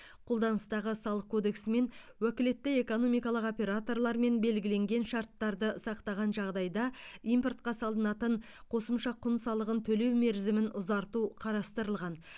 қолданыстағы салық кодексімен уәкілетті экономикалық операторлармен белгіленген шарттарды сақтаған жағдайда импортқа салынатын қосымша құн салығын төлеу мерзімін ұзарту қарастырылған